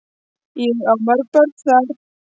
Ég á mörg börn þar.